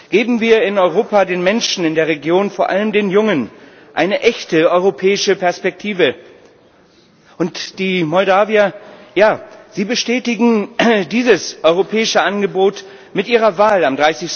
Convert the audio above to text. Geben wir in Europa den Menschen in der Region, vor allem den jungen, eine echte europäische Perspektive! Und die Moldauer, sie bestätigen dieses europäische Angebot mit ihrer Wahl am